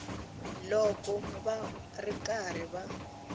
loko va ri karhi va